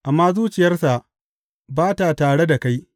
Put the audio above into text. amma zuciyarsa ba ta tare da kai.